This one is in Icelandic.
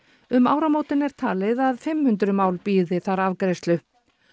um áramótin er talið að fimm hundruð mál bíði afgreiðslu